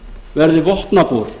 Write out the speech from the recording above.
verði vopnabúr